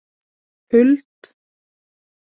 Huld